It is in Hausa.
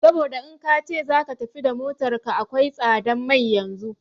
Saboda in kace zaka tafi da motar ka akwai tsadan mai yanzun